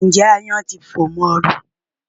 Ǹjẹ́ aáyán ti fò mọ́ ẹ rí?